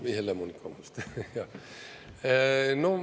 Või Helle-Moonika Vabandust!